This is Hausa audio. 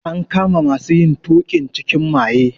An kama masu yin tuƙin cikin maye.